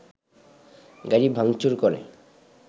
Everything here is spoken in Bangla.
গাড়ি ভাঙচুর করে